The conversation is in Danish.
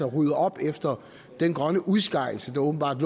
at rydde op efter den grønne udskejelse der åbenbart